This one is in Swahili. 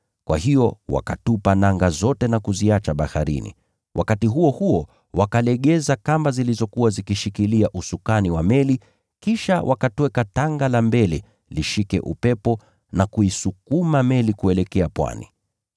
Kwa hiyo wakatupa nanga zote na kuziacha baharini, na wakati huo huo wakalegeza kamba zilizokuwa zikishikilia usukani wa meli. Kisha wakatweka tanga la mbele lishike upepo na kuisukuma meli kuelekea pwani.